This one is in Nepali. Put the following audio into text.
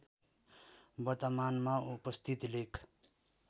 वर्तमानमा उपस्थित लेक